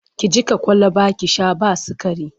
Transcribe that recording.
Ki jiƙa kwalaba ki sha ba sikari!